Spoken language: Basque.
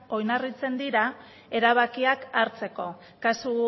oinarritzen dira erabakiak hartzeko kasu